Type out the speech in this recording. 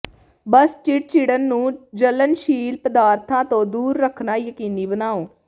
ਬਸ ਚਿੜਚਿੜਣ ਨੂੰ ਜਲਣਸ਼ੀਲ ਪਦਾਰਥਾਂ ਤੋਂ ਦੂਰ ਰੱਖਣਾ ਯਕੀਨੀ ਬਣਾਓ